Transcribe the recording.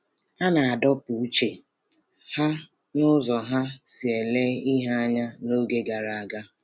A na-adọpụ uche ha site n’ụzọ ha si ele ihe anya n’oge gara aga.